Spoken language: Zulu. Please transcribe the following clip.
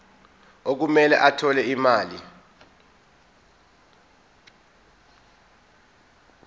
okumele athole imali